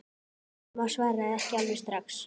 Amma svaraði ekki alveg strax.